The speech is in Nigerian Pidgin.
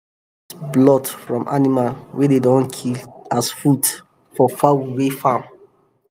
dem dey use blood from animal wey dey don kill as food for fowl wey farm